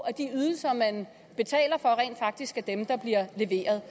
at de ydelser man betaler for rent faktisk er dem der bliver leveret